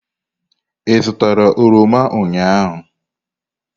Ị zụtara oroma ụnyahụ?